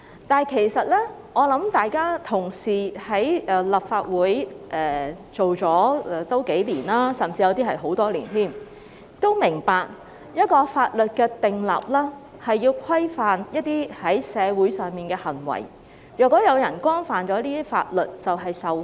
但是，各位同事已經在立法會工作數年，有些同事甚至工作了很多年，我想大家都明白，訂立法律是要規範社會上的一些行為，如果有人干犯法律便要受罰。